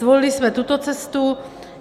Zvolili jsme tuto cestu.